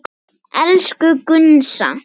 Elsku Gunnsa.